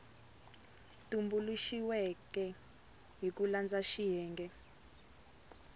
tumbuluxiweke hi ku landza xiyenge